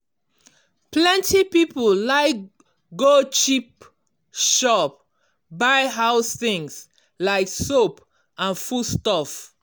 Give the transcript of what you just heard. plenty people like go cheap shop buy house things like soap and food stuff.